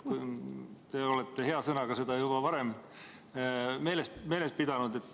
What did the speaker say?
Te olete hea sõnaga seda juba varem meeles pidanud.